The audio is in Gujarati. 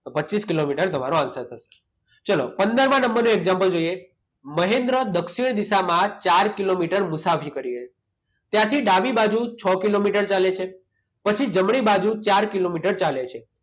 તો પચીસ કિલોમીટર તમારો આન્સર થશે. ચાલો પંદરમાં નંબરનું એક્ષામપલ જોઈએ. મહેન્દ્ર દક્ષિણ દિશામાં ચાર કિલોમીટર મુસાફરી કરી. ત્યાંથી ડાબી બાજુ છ કિલોમીટર ચાલે છે. પછી જમણી બાજુ ચાર કિલોમીટર ચાલે છે.